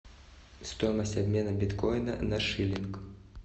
стоимость обмена биткоина на шиллинг